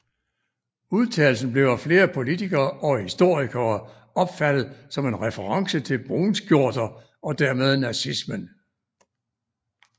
Udtalelsen blev af flere politikere og historikere opfattet som en reference til brunskjorter og dermed nazismen